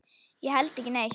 Ég held ekki neitt.